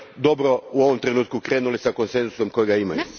dobro u ovom trenutku krenuli s konsenzusom kojega imaju.